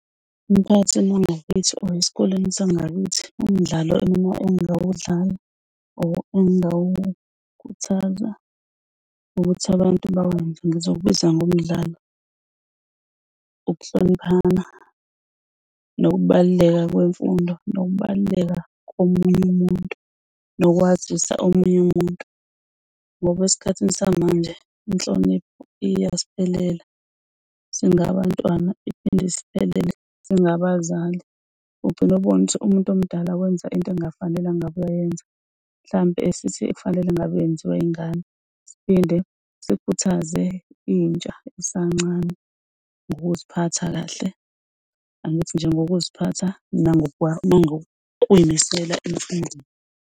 Emphakathini wangakithi or esikoleni sangakithi umdlalo engingawudlala or engawukhuthaza ukuthi abantu ngizowubiza ngomdlalo ukuhloniphaa nokubaluleka kwemfundo nokubaluleka komunye umuntu nokwazisa omunye umuntu ngoba esikhathini samanje inhlonipho iyasiphelela singabantwana iphinde isiphepele singabazali. Ugcine ubone ukuthi umuntu omdala wenza into engafanele, angabe uyayenza mhlampe sithi efanele ngabe yenziwa ingane, siphinde sikhuthaze intsha esancane ngokuziphatha kahle, angithi nje ngokuziphatha nangokuy'misela